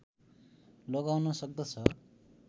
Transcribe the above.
लगाउन सक्दछ